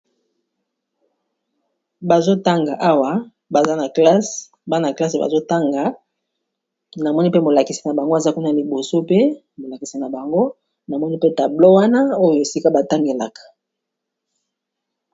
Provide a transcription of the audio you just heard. Bazotanga awa bana classe bazotanga namoni mpe molakisi na bango aza kuna liboso pe molakisi na bango namoni mpe tablo wana oyo esika batangelaka